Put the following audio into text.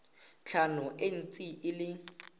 tlhano e ntse e le